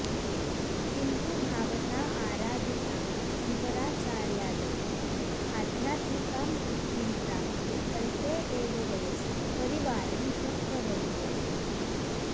किन्तु भावता आराधिताः शङ्कराचार्यादयः आध्यात्मिकां तृप्तिं प्राप्तुम् अल्पे एव वयसि परिवारं त्यक्तवन्तौ इति